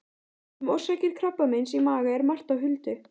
Um orsakir krabbameins í maga er margt á huldu.